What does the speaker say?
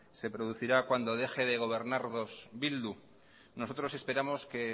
se producirá cuando deje de gobernarnos bildu nosotros esperamos que